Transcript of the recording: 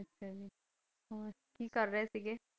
ਅੱਛਾ ਜੀ ਹੋਰ ਕੀ ਕਰ ਰਹੇ ਸਿਗੇ?